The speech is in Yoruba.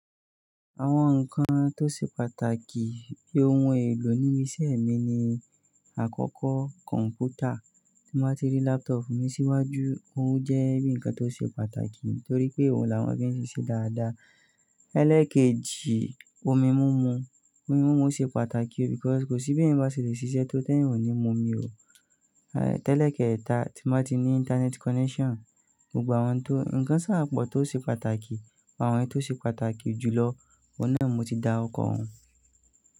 Àwọn nǹkan tó ṣe pàtàkì bí ohun èlò níbi iṣẹ́ mi ni àkọ́kọ́ kọ̀m̀pútà, tí mo bá ti rí laptop mi síwájú, òun jẹ́ bíi ǹkan tó ṣe pàtàkì torí pé òun làwọn fí ṣe ṣiṣẹ́ dáadáa. Ẹ́lẹ̀ kejì, omi múmu. Omi múmu ṣe pàtàkì, because kò sí bí ẹ̀yan bá ṣe lè ṣiṣẹ́ tó te èèyàn ní múmi o. Aì tẹ́lẹ̀ kẹta, tí mo bá ti ní internet connection. Gbogbo àwọn tó, ǹkan ṣáápọ̀ tó ṣe pàtàkì, àwọn èyí tó ṣe pàtàkì jùlọ, ọ̀nà mo ti dárukọ̀ wọn.